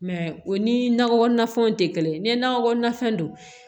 o ni nakɔ na fɛnw tɛ kelen ye ni nakɔ kɔnɔnafɛn don